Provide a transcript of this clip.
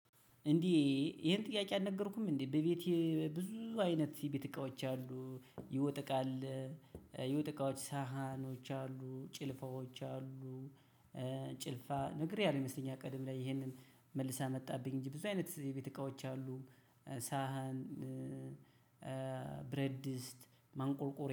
እንዲህ ይሄን ጥያቄ አልነገርኩም እንዴ በቤቴ ብዙ አይነት የቤት እቃዎች አሉ የወጥ እቃ አለ እ የወጥ እቃዎች ሳህኖች አሉ ጭልፋዎች አሉ እ ጭልፋ ነግሬሃለሁ ይመስለኛል ቅድም ላይ ይሄንን መልሰህ አመጣህብኝ እንጂ ብዙ አይነት የቤት እቃዎች አሉ ሳህን እ ብረት ድስት ማንቆርቆርያ